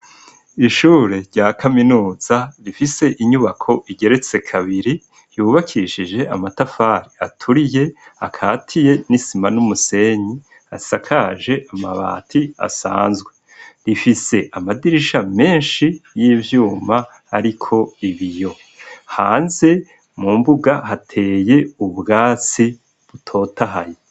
Ishure rya kaminuza rifise inyubako igeretse kabiri, yubakishije amatafari aturiye akatiye n'isima n'umusenyi, isakaje amabati asanzwe rifise amadirisha menshi y'ivyuma ariko ibiyo, hanze mu mbuga hateye ubwatsi butotahaye.